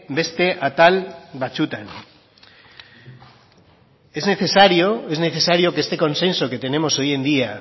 beste atal batzutan es necesario es necesario que este consenso que tenemos hoy en día